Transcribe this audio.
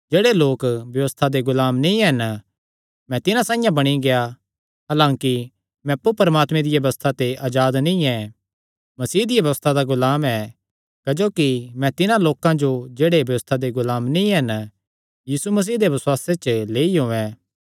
जेह्ड़े लोक व्यबस्था दे गुलाम नीं हन मैं तिन्हां साइआं बणी गेआ हलांकि मैं अप्पु परमात्मे दिया व्यबस्था ते अजाद नीं ऐ मसीह दिया व्यबस्था दा गुलाम ऐ क्जोकि मैं तिन्हां लोकां जो जेह्ड़े व्यबस्था दे गुलाम नीं हन यीशु मसीह दे बसुआसे च लेई औयें